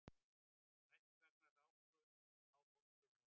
Strætisvagnar rákust á fólksbifreiðar